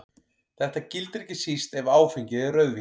Þetta gildir ekki síst ef áfengið er rauðvín.